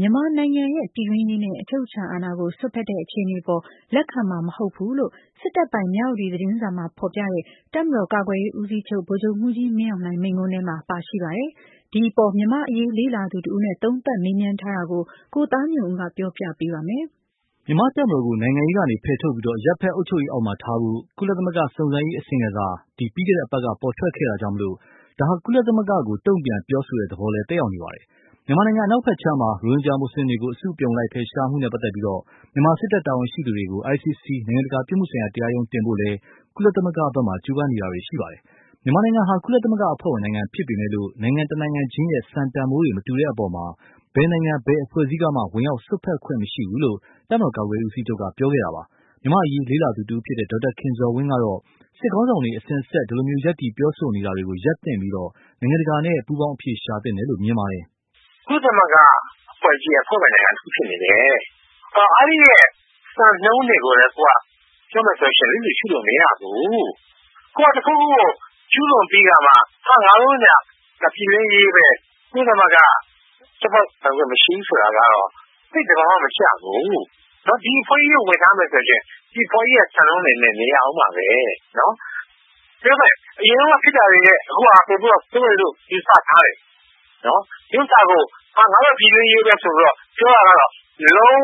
မြန်မာနိုင်ငံရဲ့ ပြည်တွင်းရေးနဲ့ အချုပ်အခြာအာဏာကို စွက်ဖက်တဲ့အခြေအနေအပေါ် လက်ခံမှာမဟုတ်ဘူးလို့ စစ်တပ်ပိုင် မြဝတီသတင်းစာမှာဖော်ပြတဲ့ တပ်မတော်ကာကွယ်ရေးဦးစီးချုပ် ဗိုလ်ချုပ်မှုးကြီးမင်းအောင်လှိုင်မိန့်ခွန်းထဲမှာ ပါရှိပါတယ်။ ဒီအပေါ် မြန်မာ့အရေးလေ့လာသူတဦးနဲ့ သုံးသပ်မေးမြန်းထားတာကို ကိုသားညွန့်ဦးက ပြောပြပေးပါမယ်။ မြန်မာ့တပ်မတော်ကို နိုင်ငံရေးကနေဖယ်ထုတ်ပြီး၊ အရပ်ဖက် အုပ်ချုပ်ရေးအောက်မှာထားဖို့ ကုလသမဂ္ဂ စုံစမ်းရေးအစီရင်ခံစာ ပြီးခဲ့တဲ့အပတ်က ပေါ်ထွက်ခဲ့တာကြောင့်၊ ဒါဟာ ကုလသမဂ္ဂကို တုန့်ပြန်ပြောဆိုတဲ့သဘော သက်ရောက်နေပါတယ်။ မြန်မာနိုင်ငံ အနောက်ဖက်ခြမ်းမှာ ရိုဟင်ဂျာမွတ်ဆလင်တွေကို အစုအပြုံလိုက် ဖယ်ရှားမှုနဲ့ပတ်သက်လို့၊ မြန်မာ စစ်တပ်တာဝန်ရှိသူတွေကို ICC နိုင်ငံတကာပြစ်မှုဆိုင်ရာ တရားရုံးကိုတင်ဖို့လည်း ကုလသမဂ္ဂမှာ ကြိုးပမ်းနေကြပါတယ်။ မြန်မာနိုင်ငံဟာ ကုလသမဂ္ဂအဖွဲ့ဝင် နိုင်ငံဖြစ်ပေမယ့်လို့ နိုင်ငံတနိုင်ချင်းရဲ့ စံတန်ဖိုးတွေ မတူတဲ့အပေါ် ဘယ်နိုင်ငံ ဘယ်အဖွဲ့အစည်းကမှ ဝင်ရောက်စွက်ဖက်ခွင့်မရှိဘူးလို့ တပ်မတော်ကာကွယ်ရေးဦးစီးချုပ်က ပြောခဲ့တာပါ။ မြန်မာ့အရေးလေ့လာသူတဦးဖြစ်တဲ့ ဒေါက်တာခင်ဇော်ဝင်းကတော့ စစ်ခေါင်းဆောင်တွေ အစဉ်အဆက် ဒီလို ရပ်တည်ပြောဆိုနေတာတွေကို ရပ်သင့်ပြီး၊ နိုင်ငံတကာနဲ့ ပူးပေါင်းအဖြေရှာသင့်တယ်လို့ မြင်ပါတယ်။ “ ကုလသမဂ္ဂ အဖွဲ့ကြီးရဲ့ အဖွဲ့ဝင် နိုင်ငံတခု ဖြစ်နေတယ်။ အဲဒီက စံနှုန်းတွေကိုလည်း ပြောမယ်ဆိုရင် လစ်လျူရှုလို့ မရဘူး။ ကိုယ်တခုခု ကျူးလွန်ပြီးခါမှ ဒါက ပြည်တွင်းရေးဘဲ ကုလသမဂ္ဂ ချိုးဖောက်ပိုင်ခွင့် မရှိဘူး ဆိုတာကတော့ သိပ် သဘာ၀ မကျဘူး။ ဒီအဖွဲ့ကြီးကို ဝင်ထားမယ်ဆိုရင် ဒီအဖွဲ့ကြီးရဲ့ စံနှုန်းတွေနဲ့ နေရဦးမှာဘဲ။ အရင်တုန်းက ဖြစ်တာတွေထက် အခုဟာက ဆိုးတယ်လို့ ယူဆထားတယ်။ ဒီဥစ္စာကို ငါတို့ ပြည်တွင်းရေးဘဲ ဆိုပြီးတော့ ပြောတာကတော့ လုံး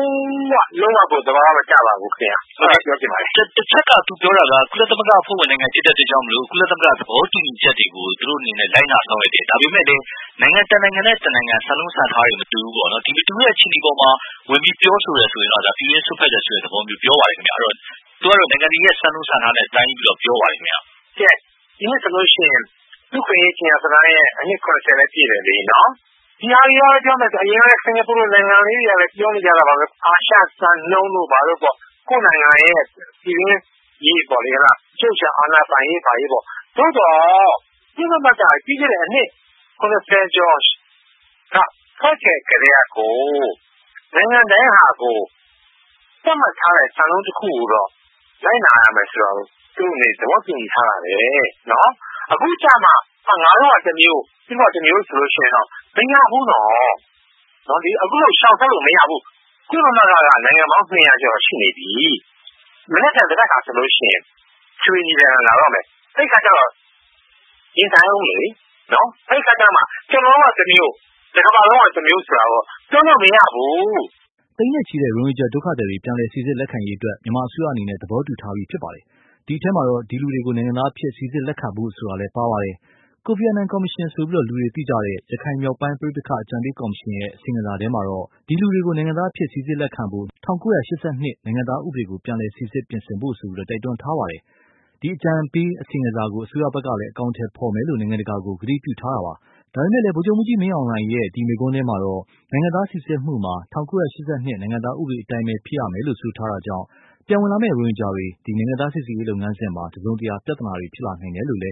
၀ လုံး၀ ကို သဘာ၀ မကျပါဘူးခင်ဗျ။ ” ဟုတ်ကဲ့။ တချက်က သူပြောတာက ကုလသမဂ္ဂ အဖွဲ့ဝင် နိုင်ငံ ဖြစ်တဲ့ အတွက်ကြောင့် မို့လို့ ကုလသမဂ္ဂ သဘောတူညီချက်တွေကို သူတို့ အနေနဲ့ လိုက်နာ ဆောင်ရွက်တယ်။ ဒါပေမယ်လို့လည်း နိုင်ငံ တနိုင်ငံနဲ့ တနိုင်ငံ စံနှုန်း စံထားတွေ မတူဘူးပေါ့နော်။ မတူတဲ့ အခြေအနေတွေ အပေါ်မှာ ဝင်ပြီး ပြောဆိုတယ် ဆိုရင်တော့ ဒါ ပြည်တွင်းရေး စွက်ဖက်တယ်ဆိုတဲ့ သဘောမျိုး ပြောပါတယ်။ အဲဒီတော့ သူကတော့ နိုင်ငံတွေရဲ့ စံနှုန်း စံထားတွေနဲ့ တိုင်းပြီးတော့ ပြောပါတယ်။ ဒီနှစ်ဆိုလို့ ရှိရင် လူ့အခွင့်အရေး ကြေညာစာတမ်းရဲ့ အနှစ် ၇၀ လည်း ပြည့်တယ်လေ။ ဒီဟာတွေက ပြောမယ်ဆိုရင် အရင်တုန်းက စကာၤပူလို နိုင်ငံလေးတွေကလည်း ပြောနေကြတာပါဘဲ အာရှစံနှုန်းတို့ ဘာတို့ပေါ့။ ကိုယ့်နိုင်ငံရဲ့ ပြည်တွင်းရေးပေါ့လေ အချုပ်အချာ အာဏာ ပိုင်ရေး ဘာညာပေါ့။ သို့သော် ကုလသမဂ္ဂ လွန်ခဲ့တဲ့ အနှစ် ၇၀ ကျော်က ဖွဲ့ခဲ့ ကတည်းကကို နိုင်ငံတိုင်းကကို သတ်မှတ်ထားတဲ့ စံနှုန်းတခုကိုတော့ လိုက်နာရမယ်ဆိုတာကို သူ့အနေနဲ့ သဘောတူညီထားတာဘဲ။ အခုကျတော့မှ ငါတို့က တမျိုး၊ သူတို့က တမျိုး ဆိုလို့ ရှိရင်တော့ မရဘူးနော်။ အခုလို ရှောင်ထွက်လို့ မရဘူး။ ကုလသမဂ္ဂက နိုင်ငံပေါင်း ၂၀၀ ကျော် ရှိနေပြီ။ မနက်ဖြန် သဘက်ခါ ဆိုရင် အထွေထွေ ညီလာခံ လာတော့မယ်။ အဲဒီ အခါကျတော့ ရင်ဆိုင်ဦးလေနော်။ အဲဒီ အခါကျတော့မှ ကျနော်တို့က တမျိုး တကမ္ဘာလုံးက တမျိုးလို့တော့ ပြောလို့ မရဘူး။ သိန်းနဲ့ချီ ရိုဟင်ဂျာဒုက္ခသည်တွေ ပြန်လည်စီစစ်လက်ခံရေးအတွက် မြန်မာအစိုးရအနေနဲ့ သဘောတူထားပြီးဖြစ်ပါတယ်။ ဒီအထဲမှာ ဒီလူတွေကို နိုင်ငံသားအဖြစ် စီစစ်လက်ခံဖို့ဆိုတာလည်း ပါဝင်ပါတယ်။ ကိုဖီအာနန်ကော်မရှင်လို့ သိကြတဲ့ ရခိုင်မြောက်ပိုင်းပဋိပက္ခ အကြံပေးကော်မရှင်ရဲ့ အစီရင်ခံစာထဲမှာတော့ ဒီလူတွေကို နိုင်ငံသားအဖြစ် စီစစ်လက်ခံဖို့ ၁၉၈၂ နိုင်ငံသားဥပဒေကို ပြန်လည်စီစစ်ပြင်ဆင်ဖို့ တိုက်တွန်းထားပြီး၊ အကြံပေးအစီရင်ခံစာကို အစိုးရဖက်က အကောင်အထည်ဖော်မယ်လို့ နိုင်ငံတကာကို ကတိပြုထားပါတယ်။ ဒါပေမယ့်လည်း ဗိုလ်ချုပ်ကြီးမင်းအောင်လှိုင်ရဲ့ ဒီ မိန့်ခွန်းထဲမှာတော့ နိုင်ငံသားစီစစ်မှုမှာ ၁၉၈၂ နိုင်ငံသားဥပဒေအတိုင်းပဲ ဖြစ်ရမယ်လို့ ဆိုထားတာကြောင့်၊ ပြန်ဝင်လာမယ့် ရိုဟင်ဂျာတွေ နိုင်ငံသားစီစစ်ရေးလုပ်ငန်းစဉ်မှာ တစုံတရာ ပြဿနာတွေရှိနိုင်တယ်လို့လည်း